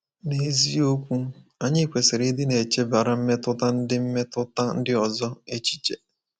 N’eziokwu, anyị kwesịrị ịdị na-echebara mmetụta ndị mmetụta ndị ọzọ echiche.